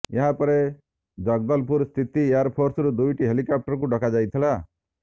ଏହାପରେ ଜଗଦଲପୁର ସ୍ଥିତ ଏୟାର ଫୋର୍ସରୁ ଦୁଇଟି ହେଲିକପ୍ଟରକୁ ଡକାଯାଇଥିଲା